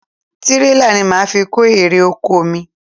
Tirela ni mo máa fi kó ere - oko mi.